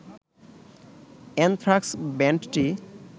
anthrax ব্যান্ডটি